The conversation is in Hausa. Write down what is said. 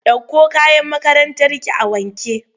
Ɗauko kayan makarantarki a wanke!